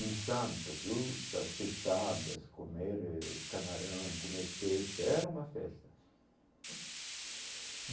Em Santos uh, as peixadas, comer eh camarão, comer peixe, era uma festa.